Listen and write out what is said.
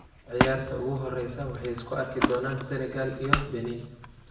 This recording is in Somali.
Ciyaarta ugu horeysa waxay isku arki doonan Senegal iyo Benin.